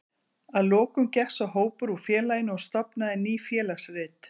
Að lokum gekk sá hópur úr félaginu og stofnaði Ný félagsrit.